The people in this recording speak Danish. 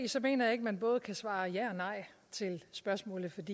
mener jeg ikke man både kan svare ja og nej til spørgsmålet